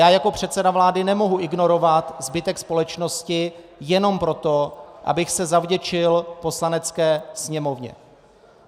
Já jako předseda vlády nemohu ignorovat zbytek společnosti jenom proto, abych se zavděčil Poslanecké sněmovně.